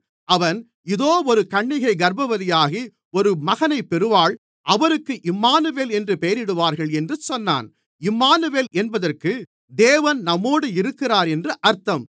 அவன் இதோ ஒரு கன்னிகை கர்ப்பவதியாகி ஒரு மகனைப் பெறுவாள் அவருக்கு இம்மானுவேல் என்று பெயரிடுவார்கள் என்று சொன்னான் இம்மானுவேல் என்பதற்கு தேவன் நம்மோடு இருக்கிறார் என்று அர்த்தம்